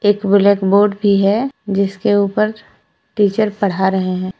एक ब्लैकबोर्ड भी है जिसके ऊपर टीचर पढ़ा रहे हैं।